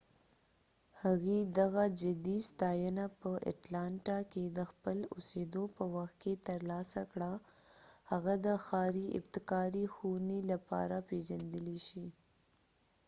هغې دغه جدي ستاینه په اټلانټا کې د خپل اوسیدو په وخت کې تر لاسه کړه هغه د ښاری ابتکاري ښوونی لپاره پیژندلی شي